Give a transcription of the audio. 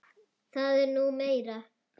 Það er nú meira.